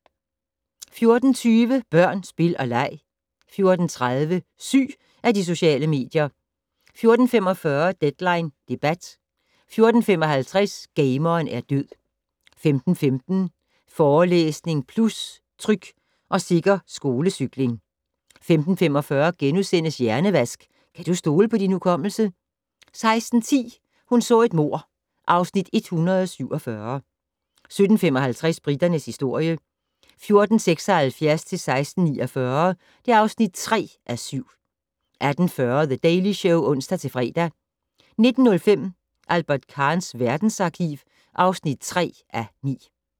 14:20: Børn, spil og leg 14:30: Syg af de sociale medier? 14:45: Deadline debat 14:55: Gameren er død 15:15: Forelæsning Plus - Tryg og sikker skolecykling 15:25: Hjernevask - kan du stole på din hukommelse? * 16:10: Hun så et mord (Afs. 147) 17:55: Briternes historie 1476-1649 (3:7) 18:40: The Daily Show (ons-fre) 19:05: Albert Kahns verdensarkiv (3:9)